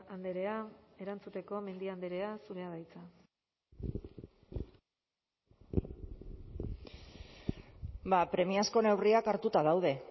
andrea erantzuteko mendia andrea zurea da hitza premiazko neurriak hartuta daude